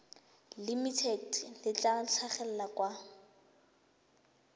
limited le tla tlhagelela kwa